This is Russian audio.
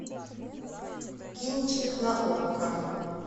кинчик на окко